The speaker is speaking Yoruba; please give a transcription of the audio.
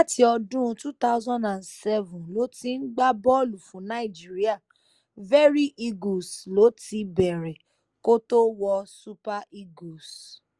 láti ọdún two thousand and seven ló ti ń gbá bọ́ọ̀lù fún nàìjíríà very eagles ló ti bẹ̀rẹ̀ kó tóó wọ super eagles